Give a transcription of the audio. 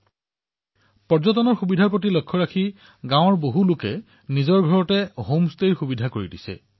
আৰু ভৱিষ্যতৰ পৰ্যটকসকলৰ সুবিধাৰ বাবে গাঁৱৰ বাসিন্দাসকলে নিজৰ নিজৰ ঘৰত হোম ষ্টেৰ সুবিধা প্ৰদান কৰিছে